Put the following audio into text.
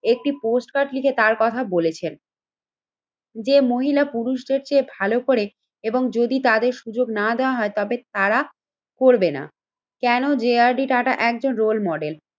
একটি postcard লিখে তার কথা বলেছেন। যে মহিলা পুরুষদের চেয়ে ভালো করে এবং যদি তাদের সুযোগ না দেওয়া হয় তবে তারা করবে না। কেন যে আর ডি টাটা একজন রোল মডেল?